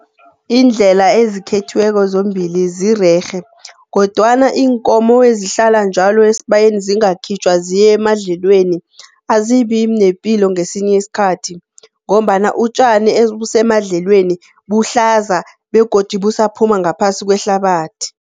Iindlela ezikhethiweko zombili zirerhe. Kodwana iinkomo ezihlala njalo esibayeni zingakhitjhwa ziyemadlelweni, azibinepilo ngesinye isikhathi. Ngombana utjani obusemadlelweni buhlaza begodu busaphuma ngaphasi kwehlabathi.